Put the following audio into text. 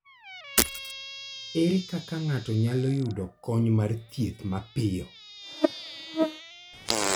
Ere kaka ng'ato nyalo yudo kony mar thieth mapiyo?